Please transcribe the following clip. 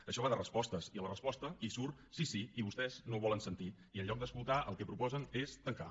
això va de respostes i a la resposta surt sí sí i vostès no ho volen sentir i en lloc d’escoltar el que proposen és tancar